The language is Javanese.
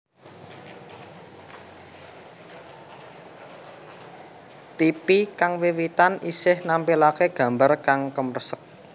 Tipi kang wiwitan isih nampilake gambar kang kemresek